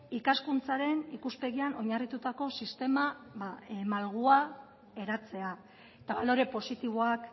ikaskuntzaren ikuspegian oinarritutako sistema malgua eratzea eta balore positiboak